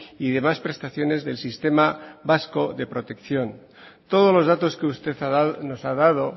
y demás prestaciones del sistema vasco de protección todos los datos que usted nos ha dado